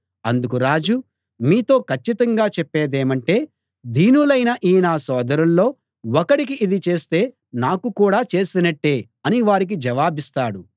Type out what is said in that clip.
అందుకు రాజు మీతో కచ్చితంగా చెప్పేదేమంటే దీనులైన ఈ నా సోదరుల్లో ఒకడికి ఇది చేస్తే నాకు కూడా చేసినట్టే అని వారికి జవాబిస్తాడు